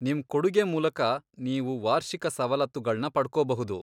ನಿಮ್ ಕೊಡುಗೆ ಮೂಲಕ ನೀವು ವಾರ್ಷಿಕ ಸವಲತ್ತುಗಳ್ನ ಪಡ್ಕೋಬಹುದು.